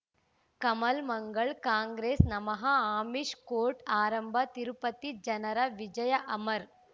ಕಮಲ್ ಮಂಗಳ್ ಕಾಂಗ್ರೆಸ್ ನಮಃ ಅಮಿಷ್ ಕೋರ್ಟ್ ಆರಂಭ ತಿರುಪತಿ ಜನರ ವಿಜಯ ಅಮರ್